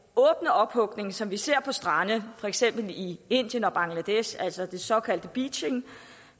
ophugning som vi ser på strande for eksempel i indien og bangladesh altså den såkaldte beaching